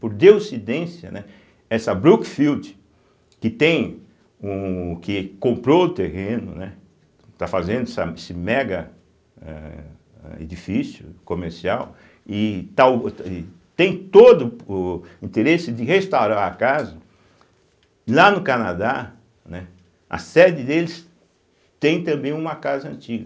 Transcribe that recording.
Por Deuscidência, né, essa Brookfield, que tem um que comprou o terreno, né, está fazendo essa esse mega eh eh edifício comercial, e tal tem todo o interesse de restaurar a casa, lá no Canadá, né, a sede deles tem também uma casa antiga.